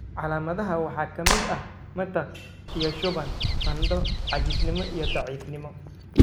Calaamadaha waxaa ka mid ah matag iyo shuban, qandho, caajisnimo, iyo daciifnimo.